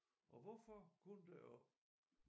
Og hvorfor kun deroppe